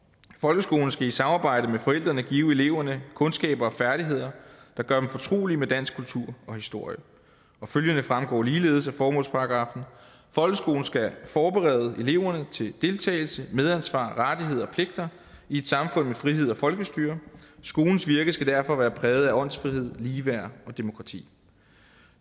folkeskolen skal i samarbejde med forældrene give eleverne kundskaber og færdigheder der gør dem fortrolige med dansk kultur og historie følgende fremgår ligeledes af formålsparagraffen folkeskolen skal forberede eleverne til deltagelse medansvar rettigheder og pligter i et samfund med frihed og folkestyre skolens virke skal derfor være præget af åndsfrihed ligeværd og demokrati